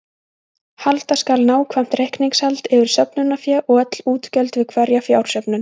Halda skal nákvæmt reikningshald yfir söfnunarfé og öll útgjöld við hverja fjársöfnun.